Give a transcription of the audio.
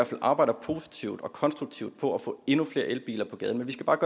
fald arbejder positivt og konstruktivt på at få endnu flere elbiler på gaden vi skal bare